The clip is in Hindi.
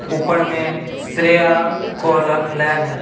ऊपड़ में श्रेया कॉलर लैब है।